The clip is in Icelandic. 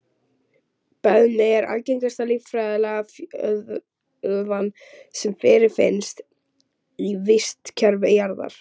Beðmi er algengasta lífræna fjölliðan sem fyrirfinnst í vistkerfi jarðar.